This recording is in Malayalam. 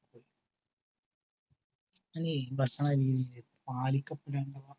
അതെ ഭക്ഷണ രീതിയില് പാലിക്കപ്പെടേണ്ട